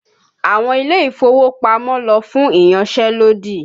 Àwọn ilé-ìfowópamọ́ lọ fún ìyanṣẹ́lódì